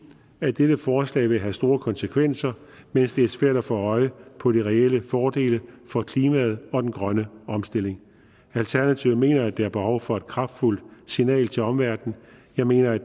at dette forslag vil have store konsekvenser mens det er svært at få øje på de reelle fordele for klimaet og den grønne omstilling alternativet mener at der er behov for et kraftfuldt signal til omverdenen jeg mener at